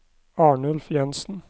Arnulf Jensen